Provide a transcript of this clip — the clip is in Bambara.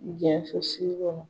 Jɛnso sigi kɔnɔ